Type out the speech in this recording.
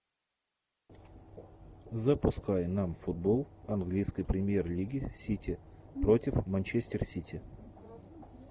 запускай нам футбол английской премьер лиги сити против манчестер сити